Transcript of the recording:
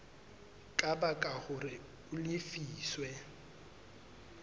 ka baka hore a lefiswe